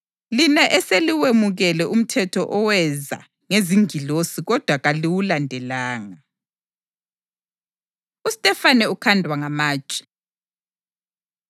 lina eseliwemukele umthetho oweza ngezingilosi kodwa kaliwulandelanga.” UStefane Ukhandwa Ngamatshe